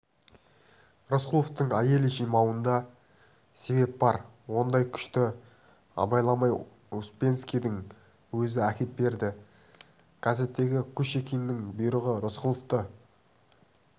рысқұловтың айыл жимауында себеп бар ондай күшті абайламай успенскийдің өзі әкеп берді газеттегі кушекиннің бұйрығы рысқұловты